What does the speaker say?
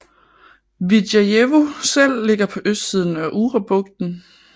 Vidjajevo selv ligger på østsiden af Urabugten